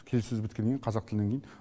келіссөз біткеннен кейін қазақ тілінен кейін